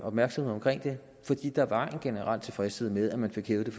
opmærksomhed omkring det fordi der var en generel tilfredshed med at man fik hævet den